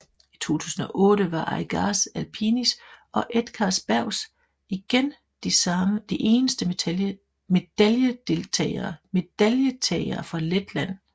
I 2008 var Aigars Apinis og Edgars Bergs igen de eneste medaljetagere fra Letland